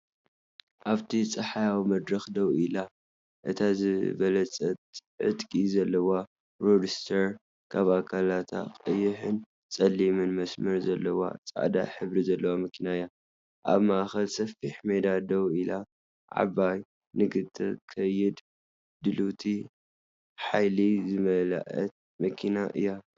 ኣብቲ ጸሓያዊ መድረኽ ደው ኢላ፡ እታ ዝበለጸት ዕጥቂ ዘለዋ ሮድስተር፡ ኣብ ኣካላታ ቀይሕን ጸሊምን መስመር ዘለዋ፡ ጻዕዳ ሕብሪ ዘለዋ መኪና እያ። ኣብ ማእከል ሰፊሕ ሜዳ ደው ኢላ፡ ዓባይ፡ ንኽትከይድ ድልውቲ፡ ሓይሊ ዝመልአት መኪና እያ።